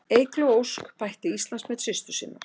Eygló Ósk bætti Íslandsmet systur sinnar